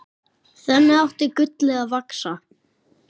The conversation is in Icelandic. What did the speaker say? Þannig átti gullið að vaxa.